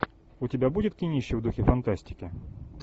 у тебя будет кинище в духе фантастики